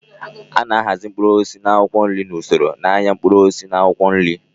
A na-ahazi mkpụrụ osisi na akwụkwọ nri n'usoro n'ahịa mkpụrụ osisi na akwụkwọ nri.